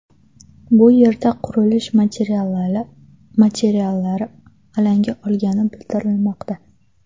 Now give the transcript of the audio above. Bu yerda qurilish materiallari alanga olgani bildirilmoqda.